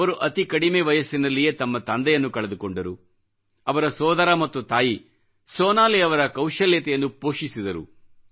ಅವರು ಅತಿ ಕಡಿಮೆ ವಯಸ್ಸಿನಲ್ಲಿಯೇ ತಮ್ಮ ತಂದೆಯನ್ನು ಕಳೆದುಕೊಂಡರು ಅವರ ಸೋದರ ಮತ್ತು ತಾಯಿ ಸೋನಾಲಿ ಅವರ ಕೌಶಲ್ಯತೆಯನ್ನು ಪೋಷಿಸಿದರು